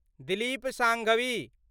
Dilip Sanghvi